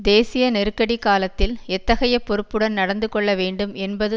தேசிய நெருக்கடி காலத்தில் எத்தகைய பொறுப்புடன் நடந்து கொள்ள வேண்டும் என்பது